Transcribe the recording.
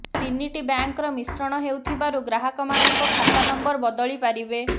ତିନିଟି ବ୍ୟାଙ୍କର ମିଶ୍ରଣ ହେଉଥିବାରୁ ଗ୍ରାହକମାନଙ୍କ ଖାତା ନମ୍ବର ବଦଳିପାରିବେ